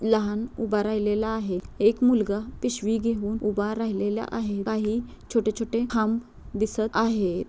लहान उभा राहिलेला आहे एक मुलगा पिशवी घेवून उभा राहिलेला आहे काही छोटे-छोटे खांब दिसत आहे.